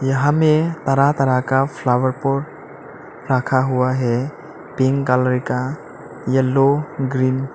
यहां पे तरह तरह का फ्लावर पॉट रखा हुआ है पिंक कलर का येलो ग्रीन --